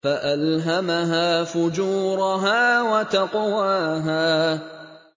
فَأَلْهَمَهَا فُجُورَهَا وَتَقْوَاهَا